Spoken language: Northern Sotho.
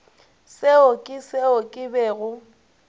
seo ke seo ke bego